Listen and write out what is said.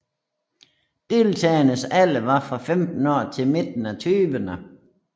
Deltagernes alder var fra 15 år til midten af tyverne